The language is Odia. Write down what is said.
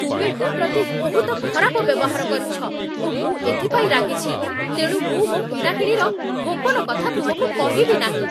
ତୁମେ ମୋ ପ୍ରତି ବହୁତ ଖରାପ ବ୍ୟବହାର କରିଛ ଓ ମୁଁ ଏଥିପାଇଁ ରାଗିଛି, ତେଣୁ ମୁଁ ମୋ କିଣାକିଣିର ଗୋପନ କଥା ତୁମକୁ କହିବି ନାହିଁ।